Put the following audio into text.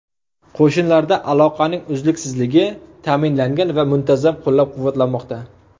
Qo‘shinlarda aloqaning uzluksizligi ta’minlangan va muntazam qo‘llab-quvvatlanmoqda.